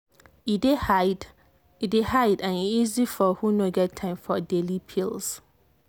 e dey hide and e easy for who no get time for daily pills.